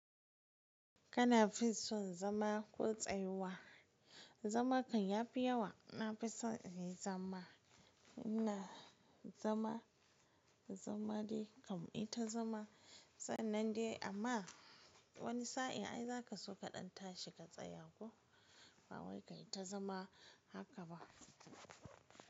Kana fi son zama ko tsayuwa? Zama kan yafi yawa. Na fi son in yi zama. Ina zama, zama dai kam ita zama. Sannan dai amma wani sa'in ai za ka so kaɗan tashi ka tsaya ko. Ba wai kayi ta zama haka ba.